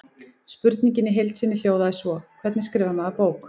Spurningin í heild sinni hljóðaði svo: Hvernig skrifar maður bók?